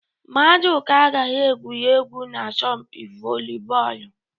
Maduka agaghị egwuri egwu n'asọmpi volibọọlụ